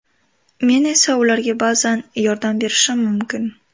Men esa ularga ba’zan yordam berishim mumkin.